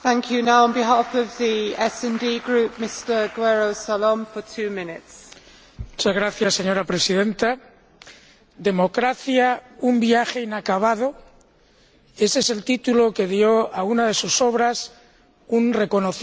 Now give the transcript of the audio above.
Señora Presidenta, Democracia el viaje inacabado, ese es el título que dio a una de sus obras un reconocido analista de los cambios teóricos y prácticos que experimentan las democracias contemporáneas.